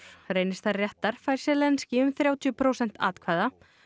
reynist þær réttar fær Zelenskíj um þrjátíu prósent atkvæða